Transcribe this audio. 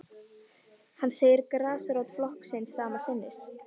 Hann segir grasrót flokksins sama sinnis